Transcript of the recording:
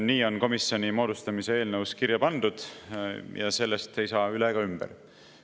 Nii on komisjoni moodustamise eelnõus kirja pandud ja sellest ei saa üle ega ümber.